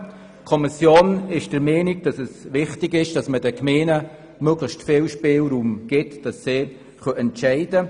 Die Kommission ist der Meinung, dass man den Gemeinden möglichst viel Spielraum geben soll.